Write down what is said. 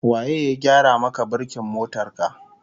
Waye ya gyara maka birkin motar ka?